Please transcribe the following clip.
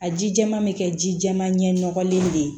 A ji jɛman bɛ kɛ ji jɛman ɲɛ nɔgɔlen de ye